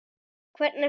Hvernig fer?